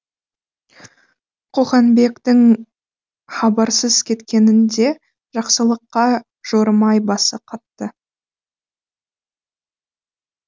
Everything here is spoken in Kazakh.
қоқанбектің хабарсыз кеткенін де жақсылыққа жорымай басы қатты